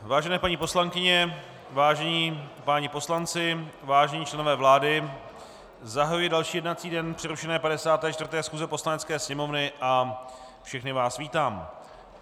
Vážené paní poslankyně, vážení páni poslanci, vážení členové vlády, zahajuji další jednací den přerušené 54. schůze Poslanecké sněmovny a všechny vás vítám.